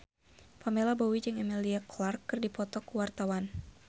Pamela Bowie jeung Emilia Clarke keur dipoto ku wartawan